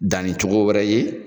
Danni cogo wɛrɛ ye.